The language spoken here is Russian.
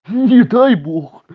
не дай бог